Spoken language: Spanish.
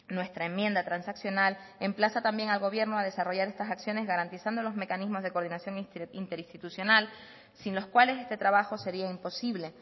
nuestra enmienda transaccional emplaza también al gobierno a desarrollar estas acciones garantizando los mecanismos de coordinación interinstitucional sin los cuales este trabajo sería imposible